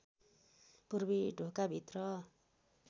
पूर्वी ढोकाभित्र